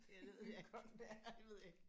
Ja det ved jeg ikke. Det kan godt være jeg ved ikke